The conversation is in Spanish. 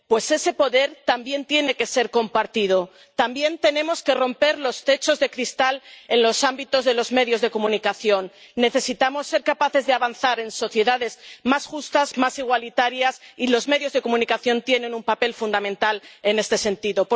pues ese poder también tiene que ser compartido, también tenemos que romper los techos de cristal en los ámbitos de los medios de comunicación. Necesitamos ser capaces de avanzar en sociedades más justas, más igualitarias, y los medios de comunicación tienen un papel fundamental en este sentido.